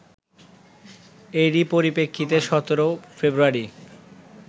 এরই পরিপ্রেক্ষিতে ১৭ ফেব্রুয়ারি